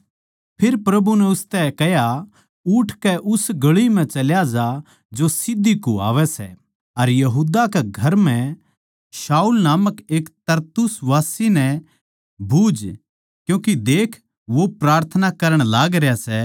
फेर प्रभु नै उसतै कह्या उठकै उस गळी म्ह चल्या जा जो सीध्धी कुह्वावै सै अर यहूदा कै घर म्ह शाऊल नामक एक तरसुसवासी नै बुझ क्यूँके देख वो प्रार्थना करण लागरया सै